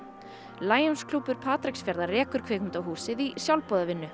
Lionsklúbbur Patreksfjarðar rekur kvikmyndahúsið í sjálfboðavinnu